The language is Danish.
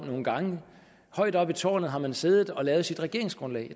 nogle gange højt oppe i tårnet har man siddet og lavet sit regeringsgrundlag